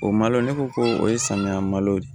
O malo ne ko ko o ye samiya malo ye